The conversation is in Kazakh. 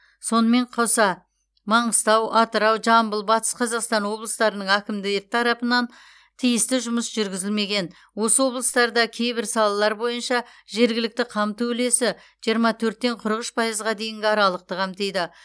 сонымен қоса маңғыстау атырау жамбыл батыс қазақстан облыстарының әкімді тарапынан тиісті жұмыс жүргізілмеген осы облыстарда кейбір салалар бойынша жергілікті қамту үлесі жиырма төрттен қырық үш пайызға дейінгі аралықты қамтиды